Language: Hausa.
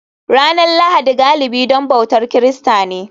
Ranar Lahadi galibi don bautar Kirista ne